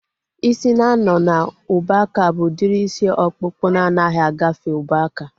Ịsị na-anọ n'ubuaka bụ udiri isi ọkpụkpụ na anaghị agafe ubuaka